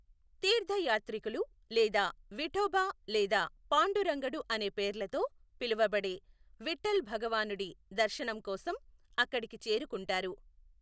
తీర్థయాత్రికులు లేదా విఠోబా లేదా పాండురంగడు అనే పేర్లతో పిలవబడే విఠ్ఠల్ భగవానుడి దర్శనం కోసం అక్కడికి చేరుకుంటారు.